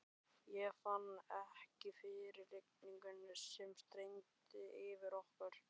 Ég fann ekki fyrir rigningunni sem streymdi yfir okkur.